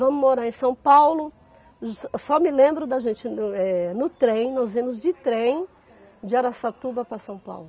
Vamos morar em São Paulo, só me lembro da gente no trem, nós íamos de trem de Araçatuba para São Paulo.